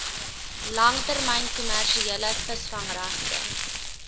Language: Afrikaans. langtermyn kommersiële visvangregte